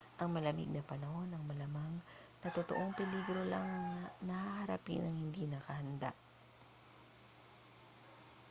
ang malamig na panahon ang malamang na totoong peligro lang na haharapin ng hindi nakahanda